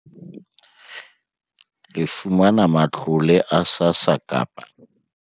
Le fumana matlole a SASSA kapa